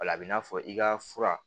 O la a bɛ n'a fɔ i ka fura